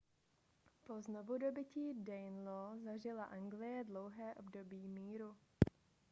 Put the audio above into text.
po znovudobytí danelaw zažila anglie dlouhé období míru